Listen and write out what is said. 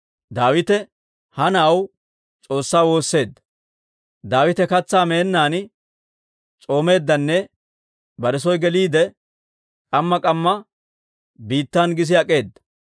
Daawite ha na'aw S'oossaa woosseedda; Daawite katsaa meennaan s'oomeeddanne bare soo geliide, k'amma k'amma biittan gis ak'eeda.